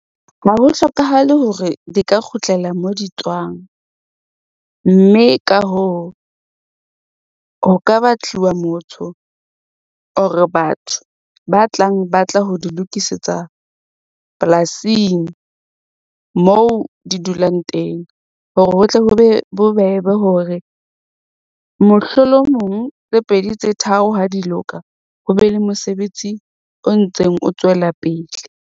Ha ho hlokahale hore di ka kgutlela mo di tswang, mme ka hoo, ho ka batliwa motho or batho ba tlang ba tla ho di lokisetsa polasing, moo di dulang teng, hore ho tle ho be bobebe hore mohlolomong tse pedi tse tharo ha di loka, ho be le mosebetsi o ntseng o tswela pele.